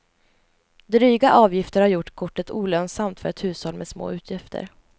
Dryga avgifter har gjort kortet olönsamt för ett hushåll med små utgifter.